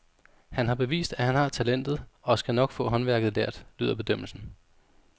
Han har bevist, at han har talentet og skal nok få håndværket lært, lyder bedømmelsen.